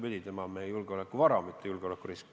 Vastupidi, see inimene on meie julgeolekuvara, mitte julgeolekurisk.